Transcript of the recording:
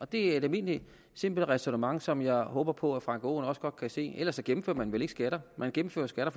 det er et almindeligt simpelt ræsonnement som jeg håber på at herre frank aaen også godt kan se ellers indfører man vel ikke skatter man indfører skatter